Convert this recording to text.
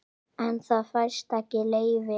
En það fæst ekki leyfi.